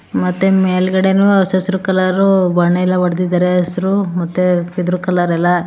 ಮತ್ತೆ ಮೇಲ್ಗಡೆನು ಹಸ್ ಹಸ್ರು ಕಲರ್ ಬಣ್ಣ ಎಲ್ಲಾ ಹೊಡ್ದಿದ್ದಾರೆ ಹಸ್ರು ಮತ್ತು ಇದ್ರೂ ಕಲರ್ ಎಲ್ಲ --